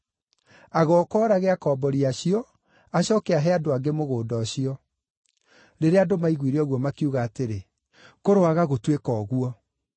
Agooka oorage akombori acio, acooke ahe andũ angĩ mũgũnda ũcio.” Rĩrĩa andũ maiguire ũguo, makiuga atĩrĩ, “Kũroaga gũtuĩka ũguo!”